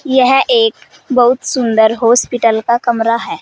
यह एक बहुत सुंदर हॉस्पिटल का कमरा है।